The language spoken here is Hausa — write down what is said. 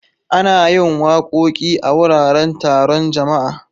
Ana yin wakoki a wuraren taron jama'a.